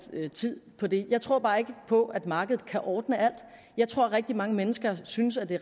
tid på det jeg tror bare ikke på at markedet kan ordne alt jeg tror at rigtig mange mennesker synes at det